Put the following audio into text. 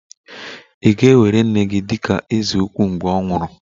Ị̀ ga-ewere nne gị dị ka eze ukwu mgbe ọ nwụrụ?